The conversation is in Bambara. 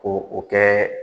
ko o kɛ